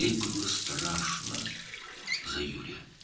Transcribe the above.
O, Yuri üçün qorxurdu.